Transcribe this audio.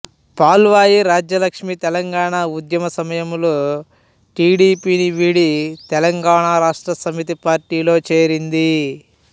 పాల్వాయి రాజ్యలక్ష్మి తెలంగాణ ఉద్యమ సమయంలో టీడీపీని విడి తెలంగాణ రాష్ట్ర సమితి పార్టీలో చేరింది